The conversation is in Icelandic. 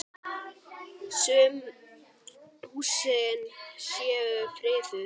Sum húsin séu friðuð.